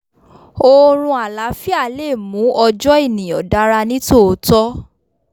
oorun àláfíà le mú ọjọ́ ènìyàn dára ní tòótọ́